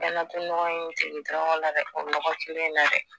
N mɛna to nɔgɔ ye tiriki tɔrɔkɔ la dɛ o nɔgɔ la dɛ